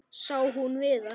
Sá hún Viðar?